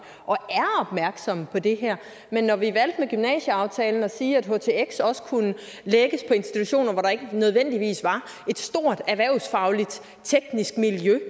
og er opmærksomme på det her men når vi med gymnasieaftalen valgte at sige at htx også kunne lægges på institutioner hvor der ikke nødvendigvis var et stort erhvervsfagligt teknisk miljø